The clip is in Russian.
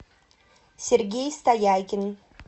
сергей стоякин